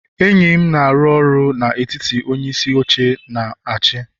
enyi m na-arụ ọrụ na etiti onyeisi oche na achi